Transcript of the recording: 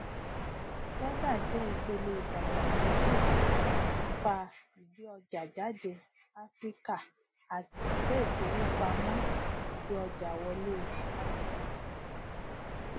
feda jẹ ìpele ìdàgbàsókè ipa ìgbéọjàjáde áfíríkà àti iléìfowópamọ ìgbéọjàwọlé afreximbank